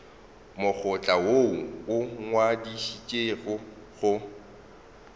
mokgatlo woo o ngwadišitšwego go